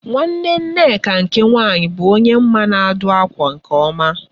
Nwanne Nneka nke nwaanyị bụ onye m ma na-adụ ákwà nke ọma